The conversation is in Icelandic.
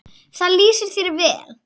Það lýsir þér vel.